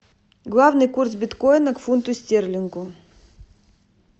главный курс биткоина к фунту стерлингу